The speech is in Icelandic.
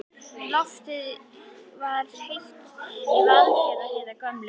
Loftið er heitt í Vaðlaheiðargöngum.